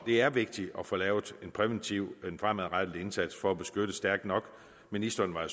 er vigtigt at få lavet en præventiv en fremadrettet indsats for at beskytte stærkt nok ministeren var